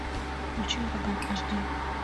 включи ураган аш ди